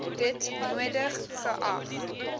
dit nodig geag